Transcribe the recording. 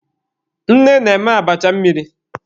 Nne na-eme abacha mmiri.